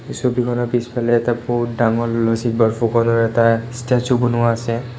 এই ছবিখনৰ পিছফালে এটা বহুত ডাঙৰ লচিত বৰফুকনৰ এটা ষ্টেচু বনোৱা আছে।